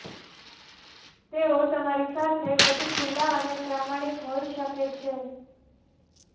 તેઓ તમારી સાથે વધુ ખુલ્લા અને પ્રામાણિક હોઇ શકે છે